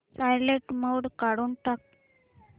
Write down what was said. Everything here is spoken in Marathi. सायलेंट मोड काढून टाक